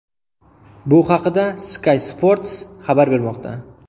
Bu haqda Sky Sports xabar bermoqda .